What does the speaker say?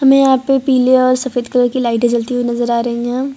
यहाँ पे पिले ओर सफेद कलर की लाइटे जलते हुई नजर आ रही है।